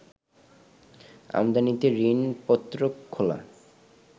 আমদানিতে ঋণপত্র খোলা